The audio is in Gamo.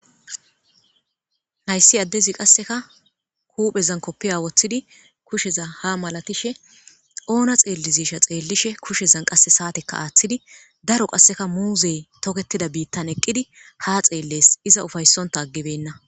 hayssi addezi qasseka kuphezan koppiya woththidi kusheza ha malatishe oona xeellizisha xeellishe kushezan qasse saateka aaththidi daro qasseka muuzey toketida biittan eqqidi ha xeelles iza ufaysonta aggibenna